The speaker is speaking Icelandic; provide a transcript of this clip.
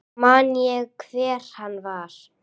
Man ég hver hann var?